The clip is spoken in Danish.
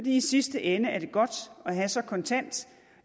i sidste ende er det godt at have så kontant